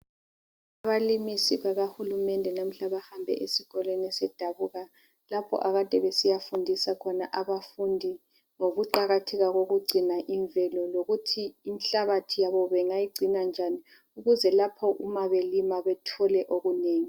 Abalimisi bakahulumende namuhla bahambe esikolweni esedabuka lapho akade besiyafundisa khona abafundi ngokuqakatheka kokugcina imvelo lokuthi inhlabathi yabo bengayigcina njani ukuze lapho uma belima bethole okunengi.